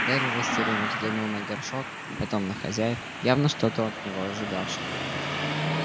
гарри растерянно взглянул на горшок потом на хозяев явно что-то от него ожидавших